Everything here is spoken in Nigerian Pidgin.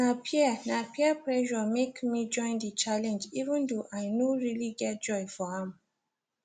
na peer na peer pressure make me join the challenge even though i no really get joy for am